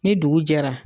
Ni dugu jɛra